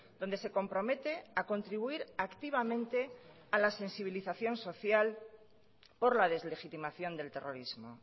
donde se compromete a contribuir activamente a la sensibilización social por la deslegitimación del terrorismo